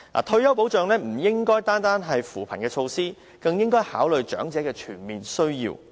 退休保障不應單單是扶貧措施，更應考慮長者的全面需要。